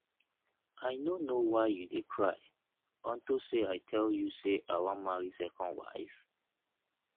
i no know why you dey cry unto say i tell you say i wan marry second wife